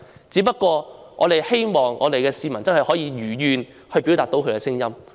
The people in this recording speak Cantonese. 只不過我們希望市民真的可以如願表達他們的聲音。